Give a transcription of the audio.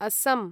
अस्सं